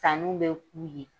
Sannunw bɛ k'u ye.